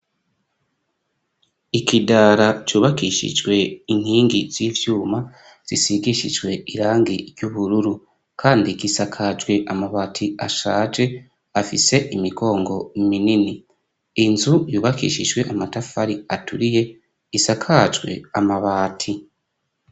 Ikidara cubakishijwe inkingi z'ivyuma zisigishijwe irangi ry'ubururu kandi gisakajwe amabati ashaje afise imigongo minini. Inzu yubakishijwe amatafari aturiye isakajwe amabati.